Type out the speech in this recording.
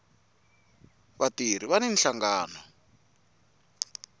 vatirhi vani nhlangano